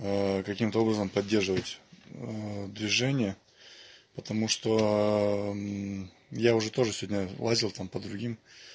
каким-то образом поддерживать движение потому что я уже тоже сегодня лазил там под другим